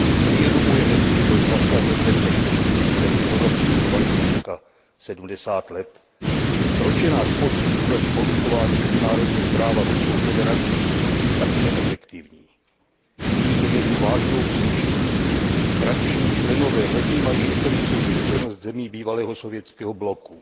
Uvědomujeme si, že byl zasažen bezpečnostní systém Evropy budovaný takřka 70 let? Proč je náš postup proti porušování mezinárodního práva Ruskou federací tak neefektivní? Vidím zde jednu vážnou příčinu. Tradiční členové nevnímají historickou zkušenost zemí bývalého sovětského bloku.